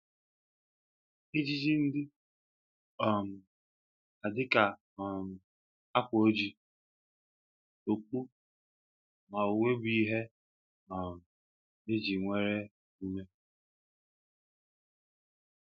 Ejiji ndị um a dịka um akwa ojii, okpu, na uwe bụ ihe um eji ewere emume